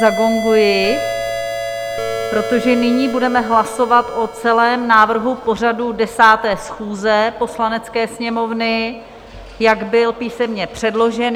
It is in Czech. Zagonguji, protože nyní budeme hlasovat o celém návrhu pořadu 10. schůze Poslanecké sněmovny, jak byl písemně předložen.